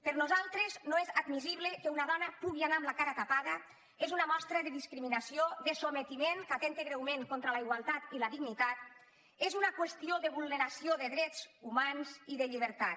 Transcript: per nosaltres no és admissible que una dona pugui anar amb la cara tapada és una mostra de discriminació de sotmetiment que atempta greument contra la igualtat i la dignitat és una qüestió de vulneració de drets humans i de llibertat